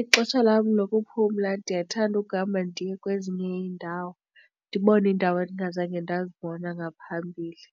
Ixesha lam lokuphumla ndiyathanda ukuhamba ndiye kwezinye iindawo, ndibone iindawo endingazange ndazibona ngaphambili.